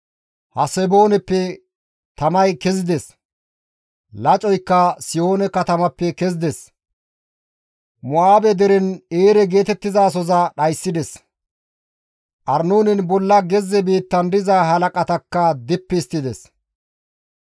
Hasebooneppe tamay kezides; Lacoykka Sihoone katamappe kezides; Mo7aabe deren Eere geetettizasoza dhayssides; Arnoonen bolla gezze biittan diza halaqatakka dippi histtides.